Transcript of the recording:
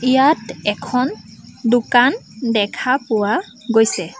ইয়াত এখন দোকান দেখা পোৱা গৈছে।